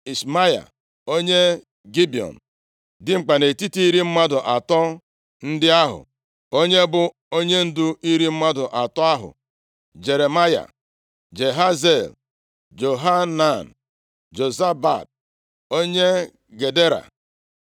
Ishmaya onye Gibiọn, dimkpa nʼetiti iri mmadụ atọ ndị ahụ, onye bụ onyendu iri mmadụ atọ ahụ, Jeremaya, Jahaziel, Johanan, Jozabad onye Gedera,